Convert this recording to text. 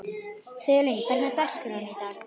Sigurlín, hvernig er dagskráin í dag?